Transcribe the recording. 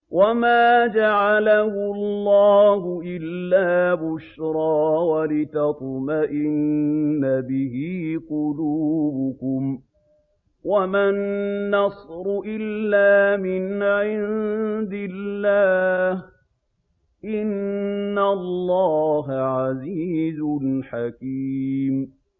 وَمَا جَعَلَهُ اللَّهُ إِلَّا بُشْرَىٰ وَلِتَطْمَئِنَّ بِهِ قُلُوبُكُمْ ۚ وَمَا النَّصْرُ إِلَّا مِنْ عِندِ اللَّهِ ۚ إِنَّ اللَّهَ عَزِيزٌ حَكِيمٌ